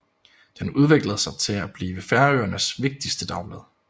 Den udviklede sig til at blive Færøernes vigtigste dagblad